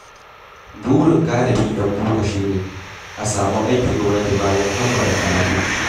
Burin galibin 'yan boko shi ne, a samu aikin gwamnati bayan kammala karatu.